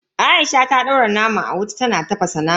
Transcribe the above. Aisha ta daura naman a wuta tana tafasa naman.